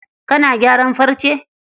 Kana gyaran farce?